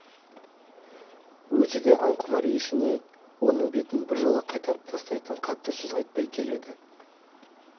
өзі де аң құмар есеней оның бетін біржола қайтарып тастайтын қатты сөз айтпай келеді